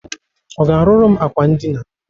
Ọ ga-arụrụ m akwa ndịna?